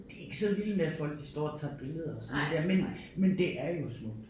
De ikke så vilde med at folk de står og tager billeder og sådan der men men det er jo smukt